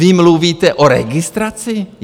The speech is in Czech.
Vy mluvíte o registraci?